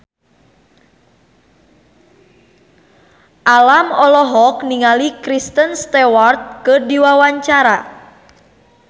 Alam olohok ningali Kristen Stewart keur diwawancara